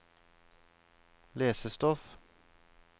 lesestoff